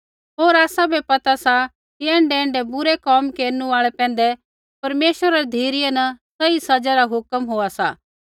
होर आसाबै पता सा कि ऐण्ढैऐण्ढै बुरै कोम केरनु आल़ै पैंधै परमेश्वरा री धिरै न सही सज़ा रा हुक्म होआ सा